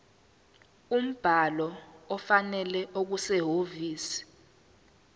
umbhalo ofanele okusehhovisi